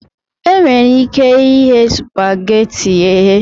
E nwere ike ighe supageti eghe.